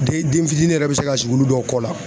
Den den fitinin yɛrɛ bɛ se ka sigi olu dɔw kɔ la